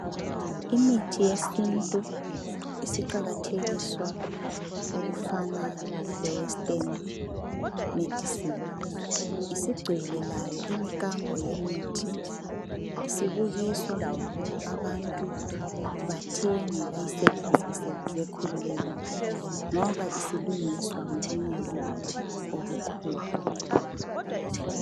Imithi yesintu isiqakathekiswa lokuna lowe western medicine isigcwele layo imikambo yemithi isibukuswa abantu bathenge bayi sebenzise bekhululekile ngoba isilungiswa ngobunono obukhulu